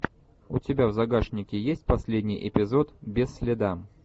у тебя в загашнике есть последний эпизод без следа